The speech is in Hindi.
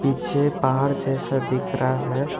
पीछे पहाड़ जैसा दिख रहा है।